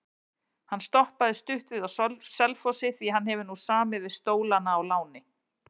Hann stoppaði stutt við á Selfossi því hann hefur nú samið við Stólana á láni.